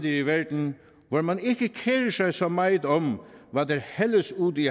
i verden hvor man ikke kerer sig så meget om hvad der hældes ud i